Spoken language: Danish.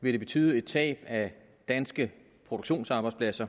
vil det betyde et tab af danske produktionsarbejdspladser